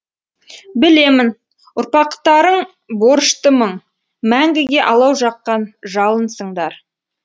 білемін ұрпақтарың борышты мың мәңгіге алау жаққан жалынсыңдар